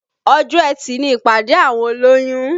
Ọjọ́ etì ni ìpàdé àwọn olóyún